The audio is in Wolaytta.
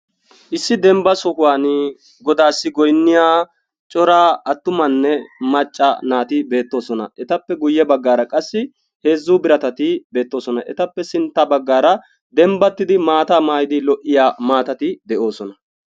Issi dembba sohuwan godassi goynniya cora attumanne macca naati beettoosona. Etappe guyye baggaara qassi heezzu biratati beettoosona. Etappe sintta baggaara dembbatidi maata maayyidi lo"iyaa maatati de'oosona.